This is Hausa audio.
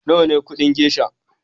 Nawa kudin gesha?